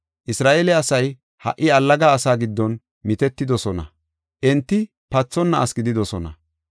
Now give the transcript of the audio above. Isra7eele asay ha77i allaga asaa giddon mitetidosona; enti pathonna asi gididosona.